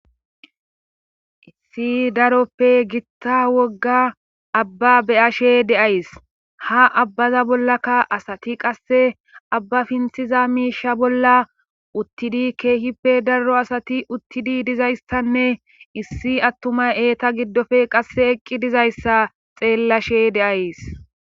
issi daroppe gitta wogga abba beyashe deays ha abbaza bollakka asati qasse abba pinthiza miisha bolla uttidi keehippe daro asati uttidi dizayssanne issi attumay eeta giddofe qasse eqqi dizayssa xeellashe deays